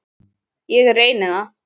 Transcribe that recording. Ég reyni það.